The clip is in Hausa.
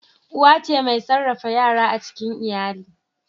Uwa ce mai sarrafa yara a cikin iyali.